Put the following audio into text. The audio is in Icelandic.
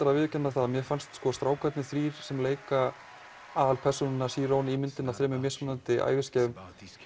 að viðurkenna það að mér fannst strákarnir þrír sem leika aðalpersónuna í myndinni á þremur mismunandi æviskeiðum